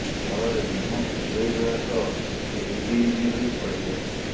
ଫଳରେ ମୁହଁ କୁଣ୍ଡେଇ ହେବା ସହ ରିବି ରିବି ହୋଇ ଫଳିଯାଏ